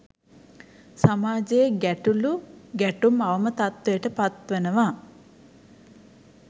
සමාජයෙ ගැටලු ගැටුම්, අවම තත්ත්වයට පත්වනවා.